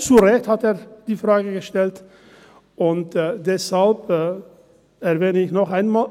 – Er hat die Frage zu Recht gestellt, und deshalb erwähne ich es noch einmal: